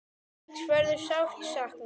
Eiríks verður sárt saknað.